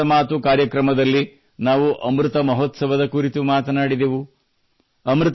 ಇಂದು ಮನದ ಮಾತು ಕಾರ್ಯಕ್ರಮದಲ್ಲಿ ನಾವು ಅಮೃತ ಮಹೋತ್ಸವದ ಕುರಿತು ಮಾತನಾಡಿದೆವು